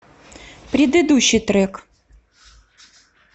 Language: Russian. предыдущий трек